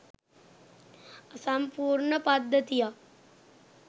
අසම්පූර්ණ පද්ධතියක්